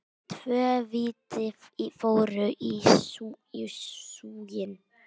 Tvö víti fóru í súginn.